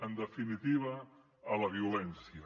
en definitiva a la violència